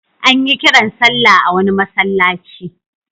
An yi kiran sallah a wani masallaci.